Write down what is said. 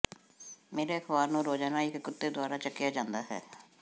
ਮੇਰੇ ਅਖ਼ਬਾਰ ਨੂੰ ਰੋਜ਼ਾਨਾ ਇਕ ਕੁੱਤੇ ਦੁਆਰਾ ਚਾਕਿਆ ਜਾਂਦਾ ਹੈ